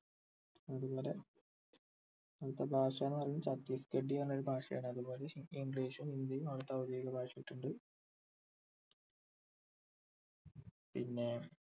അതുപോലെ ആവുടത്തെ ഭാഷ എന്ന് പറയുന്നത് ഛത്തീസ്ഗഢി എന്ന് പറഞ്ഞ ഒരു ഭാഷയാണ് അതുപോലെ english ഉം ഹിന്ദിയും അവിടുത്തെ ഔദ്യോദിഗഭാഷയായിട്ടുണ്ട് പിന്നെ